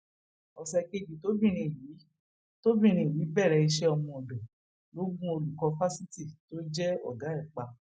ọsẹ kejì tọmọbìnrin yìí tọmọbìnrin yìí bẹrẹ iṣẹ ọmọọdọ ló gun olùkọ fásitì tó jẹ ọgá ẹ pa